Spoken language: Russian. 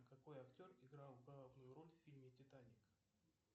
какой актер играл главную роль в фильме титаник